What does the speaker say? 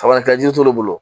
Sabalikɛ jiri t'olu bolo